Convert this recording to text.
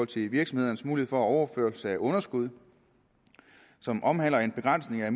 til virksomhedernes mulighed for overførelse af underskud som omhandler en begrænsning af